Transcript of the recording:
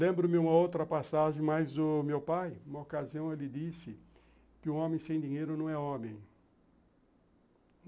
Lembro-me uma outra passagem, mas o meu pai, numa ocasião, ele disse que um homem sem dinheiro não é homem.